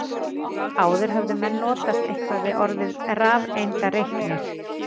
Áður höfðu menn notast eitthvað við orðið rafeindareiknir.